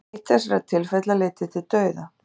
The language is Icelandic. eitt þessara tilfella leiddi til dauða